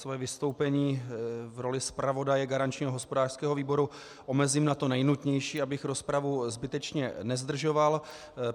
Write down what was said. Své vystoupení v roli zpravodaje garančního hospodářského výboru omezím na to nejnutnější, abych rozpravu zbytečně nezdržoval.